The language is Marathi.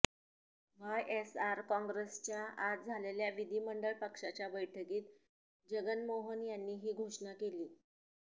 वायएसआर काँग्रेसच्या आज झालेल्या विधिमंडळ पक्षाच्या बैठकीत जगनमोहन यांनी ही घोषणा केली